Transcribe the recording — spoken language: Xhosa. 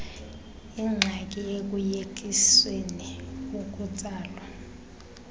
ingxaki ekuyekiseni ukutsalwa